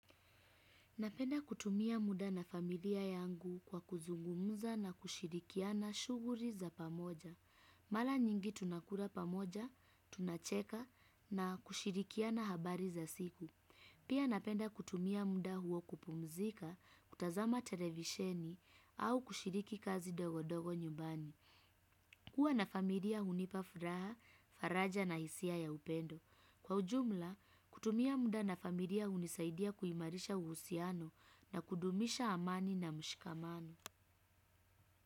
Napenda kutumia muda na familia yangu kwa kuzungumza na kushirikiana shughuri za pamoja. Mala nyingi tunakura pamoja, tunacheka na kushirikiana habari za siku. Pia napenda kutumia muda huo kupumzika, kutazama televisheni au kushiriki kazi dogo dogo nyumbani. Kuwa na familia hunipa furaha, faraja na hisia ya upendo. Kwa ujumla, kutumia muda na familia hunisaidia kuimarisha uhusiano na kudumisha amani na mshikamano.